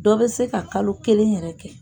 Dɔ bɛ se ka kalo kelen yɛrɛ kɛ.